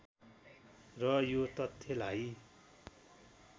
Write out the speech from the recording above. र यो तथ्यलाई